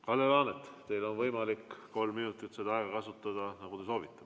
Kalle Laanet, teil on võimalik kolm minutit kasutada seda aega, nagu te soovite.